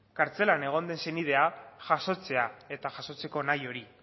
kartzelan egon den senidea jasotzea eta jasotzeko nahi hori